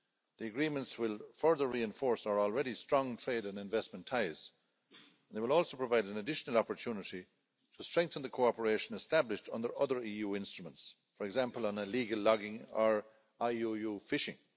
The agreements will further reinforce our already strong trade and investment ties, and they will also provide an additional opportunity to strengthen the cooperation established under other EU instruments, for example on illegal logging or IUU fishing.